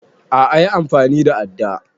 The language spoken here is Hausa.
A'a yi amfani da adda